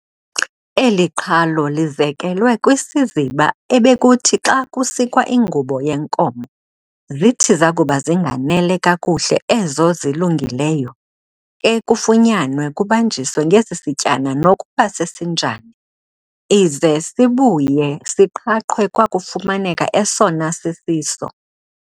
Eli qhalo lizekelwe kwisiziba ebekuthi xa kusikwa ingubo yenkomo, zithi zakuba zinganele kakuhle ezo zilunguleyo, ke kufunyanwe kubanjiswe ngesisityana nokuba sesinjani, ize sibuye siqhaqhwe kwakufumaneka esona sisiso.